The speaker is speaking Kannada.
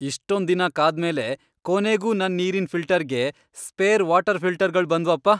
ಇಷ್ಟೊಂದಿನ ಕಾದ್ಮೇಲೆ ಕೊನೆಗೂ ನನ್ ನೀರಿನ್ ಫಿಲ್ಟರ್ಗೆ ಸ್ಪೇರ್ ವಾಟರ್ ಫಿಲ್ಟರ್ಗಳ್ ಬಂದ್ವಪ್ಪ!